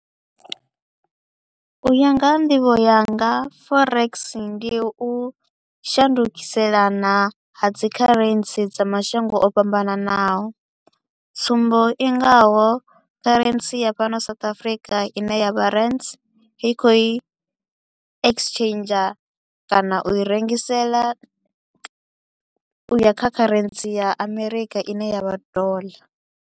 U ya nga ha nḓivho yanga forex ndi u shandukiselana ha dzi currency dza mashango o fhambananaho, tsumbo i ngaho currency ya fhano South Africa i ne ya vha rands i kho u i exchanger kana u i rengisela u ya kha currency ya America i ne ya vha dollar.